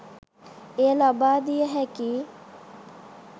එය ලබා දිය හැකි